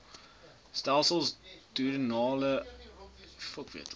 stelsel duodenale ulkusse